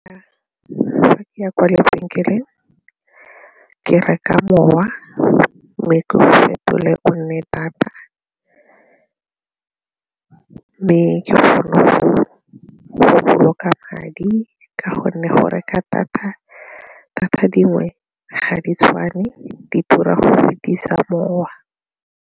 Fa ke ya kwa lebenkeleng ke reka mowa mme ke go fetole o nne data mme ke madi ka gonne go reka data, data dingwe ga di tshwane di tura fetisa mowa.